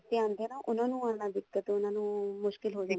ਆਉਂਦੇ ਏ ਨਾ ਉਹਨਾ ਨੂੰ ਦਿੱਕਤ ਉਹਨਾ ਨੂੰ ਮੁਸ਼ਕਿਲ ਹੋ